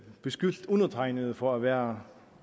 beskyldt undertegnede for at være